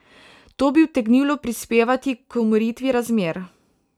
To bi utegnilo prispevati k umiritvi razmer.